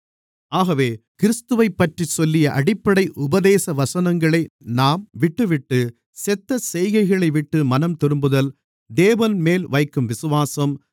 ஆகவே கிறிஸ்துவைப்பற்றிச் சொல்லிய அடிப்படை உபதேசவசனங்களை நாம்விட்டுவிட்டு செத்த செய்கைகளைவிட்டு மனம்திரும்புதல் தேவன்மேல் வைக்கும் விசுவாசம்